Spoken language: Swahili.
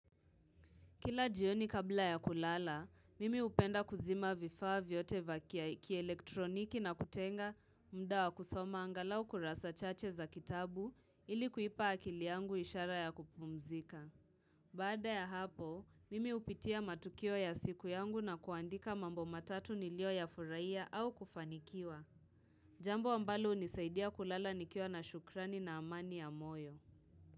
Kila jioni kabla ya kulala, mimi hupenda kuzima vifaa vyote vya kielektroniki na kutenga muda wa kusoma angalau kurasa chache za kitabu ili kuipa akili yangu ishara ya kupumzika. Baada ya hapo, mimi hupitia matukio ya siku yangu na kuandika mambo matatu nilio yafurahia au kufanikiwa. Jambo ambalo unisaidia kulala nikiwa na shukrani na amani ya moyo.